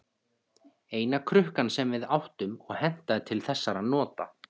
Eina krukkan sem við áttum og hentaði til þessara nota.